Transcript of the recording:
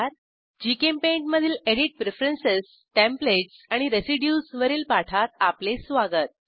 GChemPaint मधील edit preference templates आणि residues वरील पाठात आपले स्वागत